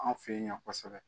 Anw fɛ yen yan kosɛbɛ